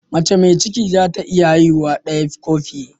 Mace mai ciki za ta iya haihuwa daya ko fiye